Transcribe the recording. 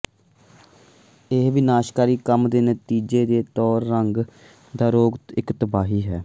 ਇਸ ਵਿਨਾਸ਼ਕਾਰੀ ਕੰਮ ਦੇ ਨਤੀਜੇ ਦੇ ਤੌਰ ਤੇ ਰੋਗ ਦਾ ਇੱਕ ਤਬਾਹੀ ਹੈ